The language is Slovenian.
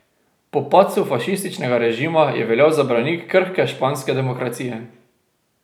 Po padcu fašističnega režima je veljal za branik krhke španske demokracije.